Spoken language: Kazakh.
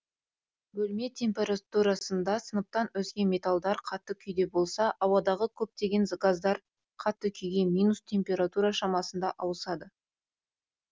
бөлме температурасында сынаптан өзге металдар қатты күйде болса ауадағы көптеген газдар қатты күйге минус температура шамасында ауысады